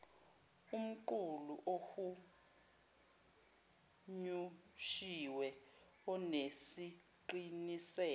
umqulu ohunyushiwe onesiqiniseko